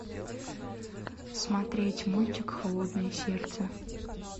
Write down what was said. смотреть мультик холодное сердце